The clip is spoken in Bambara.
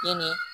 Ni